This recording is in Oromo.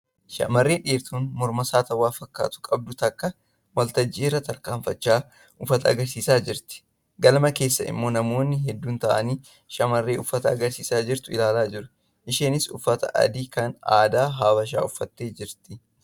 Shamarree dheertuun morma saattawwaa fakkaatu qabdu takka waltajjii irra tarkaanfachaa uffata agarsiisaa jirti. Galma keessa immoo namoonni hedduun taa'anii shamarree uffata agarsiistu ilaalaa jiru. Isheenis uffata adii kan aadaa Habashaa uffattee jirti.